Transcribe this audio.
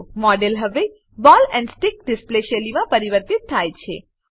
model હવે ball and stick display શૈલીમાં પરિવર્તિત થાય છે